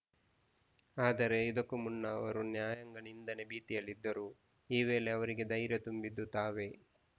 ಆದರೆ ಇದಕ್ಕೂ ಮುನ್ನ ಅವರು ನ್ಯಾಯಾಂಗ ನಿಂದನೆ ಭೀತಿಯಲ್ಲಿದ್ದರು ಈ ವೇಳೆ ಅವರಿಗೆ ಧೈರ್ಯ ತುಂಬಿದ್ದು ತಾವೇ